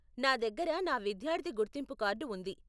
నా దగ్గర నా విద్యార్థి గుర్తింపు కార్డు ఉంది .